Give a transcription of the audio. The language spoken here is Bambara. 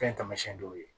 Fɛn taamasiyɛn dɔw ye